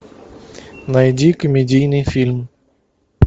найди комедийный фильм